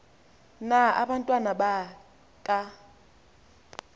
na abantwana baka